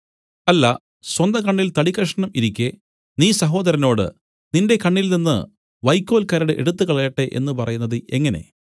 അല്ല സ്വന്തകണ്ണിൽ തടിക്കഷണം ഇരിക്കെ നീ സഹോദരനോട് നിന്റെ കണ്ണിൽ നിന്നു വൈക്കോൽ കരട് എടുത്തുകളയട്ടെ എന്നു പറയുന്നത് എങ്ങനെ